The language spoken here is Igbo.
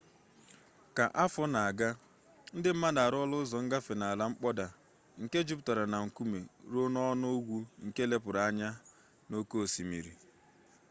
ka afọ na-aga ndị mmadụ arụọla ụzọ ngafe n'ala mkpọda nke juputara na nkume ruo n'ọnụ ugwu nke lepụgara anya n'oke osimiri